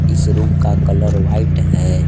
इस रूम का colour white है।